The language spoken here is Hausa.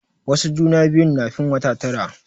Wasu juna biyun na fin wata tara.